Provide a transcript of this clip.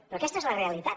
però aquesta és la realitat